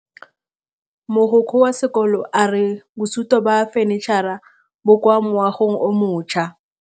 Mogokgo wa sekolo a re bosutô ba fanitšhara bo kwa moagong o mošwa.